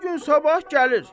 Bu gün sabah gəlir.